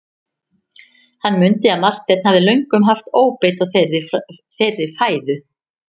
Hann mundi að Marteinn hafði löngum haft óbeit á þeirri fæðu.